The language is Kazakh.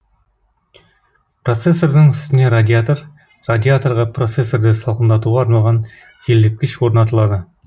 процессордың үстіне радиатор радиаторға процессорды салқындатуға арналған желдеткіш орнатылады